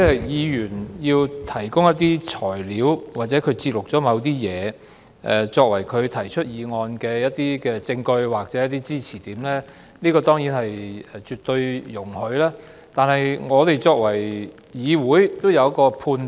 議員要提供一些材料或節錄某些東西，作為他提出議案的證據或支持點，這當然是絕對容許的，但議會也要有所判斷。